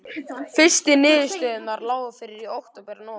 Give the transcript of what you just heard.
Fyrstu niðurstöðurnar lágu fyrir í október og nóvember.